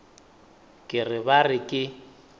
ke re ba re ke